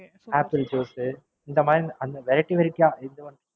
Apple juice இந்த மாதிரி Variety variety யா,